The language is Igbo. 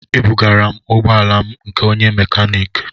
Ebugara m ụgbọ ala na nke onye mekaniki